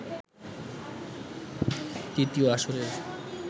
দ্বিতীয় আসরের